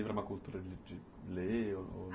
uma cultura de de ler?